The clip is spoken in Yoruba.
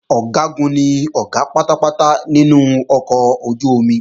Ọ̀gágun ni Ọ̀gá pátápátá nínú ọkọ̀ ojú-omi